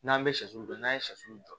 N'an bɛ shɛso don n'a ye sɔ jɔ